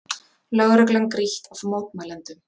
Lögreglan grýtt af mótmælendum